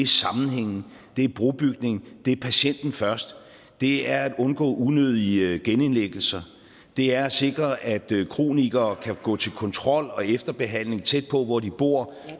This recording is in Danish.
sammenhængen det er brobygning det er patienten først det er at undgå unødige genindlæggelser det er at sikre at kronikere kan gå til kontrol og efterbehandling tæt på hvor de bor